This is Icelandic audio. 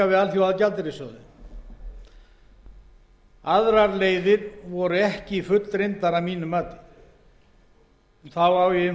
við alþjóðagjaldeyrissjóðinn aðrar leiðir voru ekki fullreyndar að mínu mati þá á ég